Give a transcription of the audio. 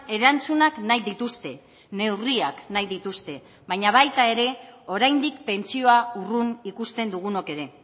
erantzunak nahi dituzte neurriak nahi dituzte baina baita ere oraindik pentsioa urrun ikusten dugunok ere